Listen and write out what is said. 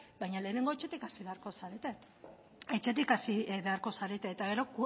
baina lehenengo etxetik hasi beharko zarete etxetik hasi beharko zarete eta gero